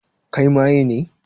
Kai maye ne?